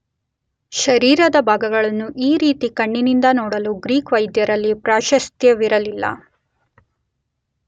ಶರೀರದ ಭಾಗಗಳನ್ನು ಈ ರೀತಿ ಕಣ್ಣಿನಿಂದ ನೋಡಲು ಗ್ರೀಕ್ ವೈದ್ಯರಲ್ಲಿ ಪ್ರಾಶಸ್ತ್ಯವಿರಲಿಲ್ಲ.